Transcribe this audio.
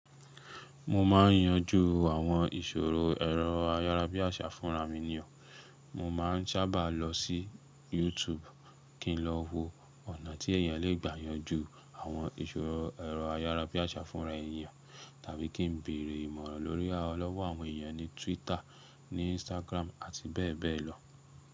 Mo máa ń yanjú àwọn ìṣòro ẹ̀rọ ayára bí àṣà fúnra mi nì o. Mo máa ń sábà lọ sí YouTube kí n lọ wo ọ̀nà tí èèyàn lè gbà yanjú àwọn ìṣòro ẹ̀rọ ayára bí àṣà fúnra èèyàn tàbí kí n béèrè ìmọ̀ràn lórí lọ́wọ́ àwọn èèyàn ní Twitter, ní Instagram àti bẹ́ẹ̀ bẹ́ẹ̀ lọ.